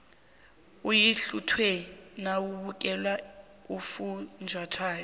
uyathluwa nawubukele ufunjathwako